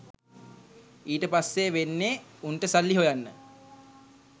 ඊට පස්සේ වෙන්නේ උන්ට සල්ලි හොයන්න